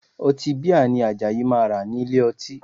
Ọtí bíà ni Àjàyí máa rà nílé ọtí